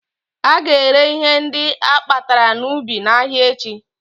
Ága ere ihe ndị akpatara n'ubi n'ahịa echi